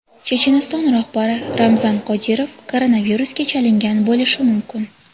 Checheniston rahbari Ramzan Qodirov koronavirusga chalingan bo‘lishi mumkin.